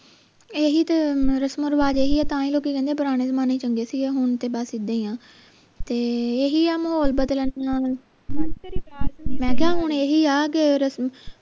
ਇਹੀ ਤੇ ਰਸਮੋਂ ਰਿਵਾਜ ਇਹੀ ਹੈ ਤਾਂ ਹੀ ਲੋਕੀ ਕਹਿੰਦੇ ਹੈ ਪੁਰਾਣੇ ਜਮਾਨੇ ਚੰਗੇ ਸੀ ਗੇ ਹੁਣ ਤੇ ਬਸ ਇੱਦਾਂ ਹੀ ਆ ਤੇ ਇਹੀ ਆ ਮਾਹੌਲ ਬਦਲਣ ਨਾਲ ਮੈਂ ਕਿਹਾ ਹੁਣ ਏਹੀ ਆ ਕੇ ਰਸਮ